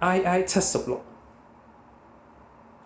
il-76